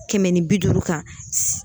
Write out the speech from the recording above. Kɛmɛ ni bi duuru kan